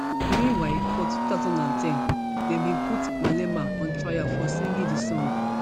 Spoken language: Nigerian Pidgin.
meanwhilefor two thousand and ten dem bin put malemaon trial for singing di song